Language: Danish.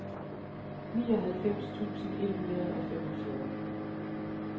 nioghalvfems tusind et hundrede og femogfyrre